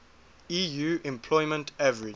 eu unemployment average